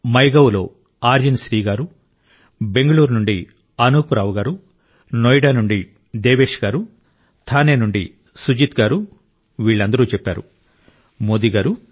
మైగవ్లో ఆర్యన్ శ్రీ గారు బెంగళూరు నుండి అనూప్ రావు గారు నోయిడా నుండి దేవేష్ గారు థానే నుండి సుజిత్ గారు వీళ్ళందరూ చెప్పారు మోదీ గారు